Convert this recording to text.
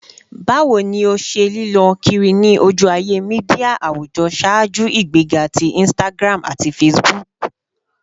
Bawo ni o ṣe lilö kiri ni oju-aye media awujọ ṣaaju igbega ti Instagram ati Facebook?